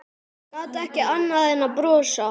Gat ekki annað en brosað.